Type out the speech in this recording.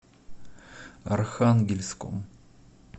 архангельском